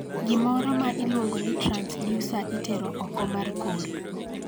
Gimoro ma iluongo ni transducer itero oko mar kor.